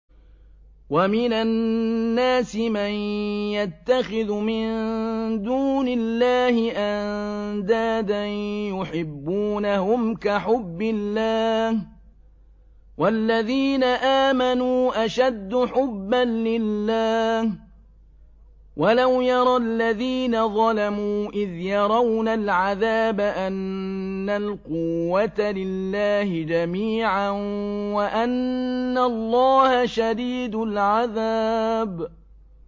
وَمِنَ النَّاسِ مَن يَتَّخِذُ مِن دُونِ اللَّهِ أَندَادًا يُحِبُّونَهُمْ كَحُبِّ اللَّهِ ۖ وَالَّذِينَ آمَنُوا أَشَدُّ حُبًّا لِّلَّهِ ۗ وَلَوْ يَرَى الَّذِينَ ظَلَمُوا إِذْ يَرَوْنَ الْعَذَابَ أَنَّ الْقُوَّةَ لِلَّهِ جَمِيعًا وَأَنَّ اللَّهَ شَدِيدُ الْعَذَابِ